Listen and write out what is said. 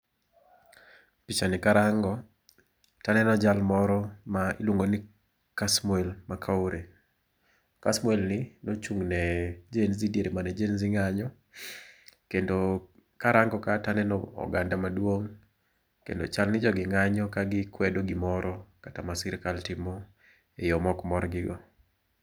Pichani karango to aneno jal moro ma iluongo ni Kasmiel Macoure. Kasmiel ni nochung' ne Genzee diere mane Genzee ng'anyo kendo karango ka to aneno oganda maduong' kendo chal ni jogi ng'anyo ka gikwedo gimoro kata ma sirkal timo eyo ma ok morgi go.